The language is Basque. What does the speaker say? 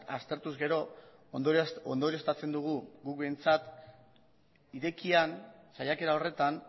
aztertuz gero ondorioztatzen dugu gu behintzat irekian saiakera horretan